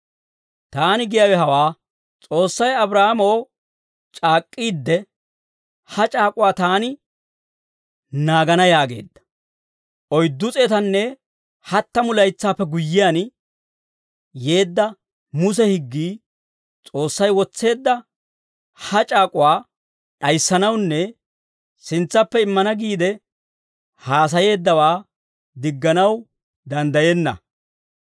Taani giyaawe hawaa; S'oossay Abraahaamoo c'aak'k'iidde, ha c'aak'uwaa taani naagana yaageedda. Oyddu s'eetanne hattamu laytsaappe guyyiyaan yeedda Muse higgii S'oossay wotseedda ha c'aak'uwaa d'ayissanawunne sintsappe immana giide haasayeeddawaa digganaw danddayenna.